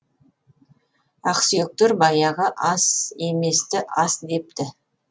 ақсүйектер баяғы ас еместі ас депті